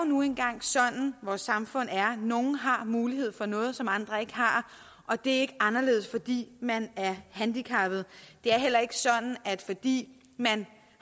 nu engang sådan vores samfund er nogle har mulighed for noget som andre ikke har og det er ikke anderledes fordi man er handicappet det er heller ikke sådan at fordi man